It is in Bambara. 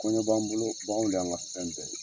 Kɔɲɔ b'an bolo, bagan de y'an ka fɛn bɛɛ ye.